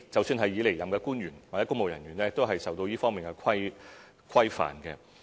即使已離任的官員或公務人員，都受到這方面的規範。